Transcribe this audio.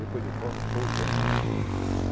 Depois do Cova foi o Jânio, né?